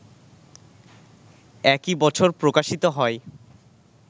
একই বছর প্রকাশিত হয়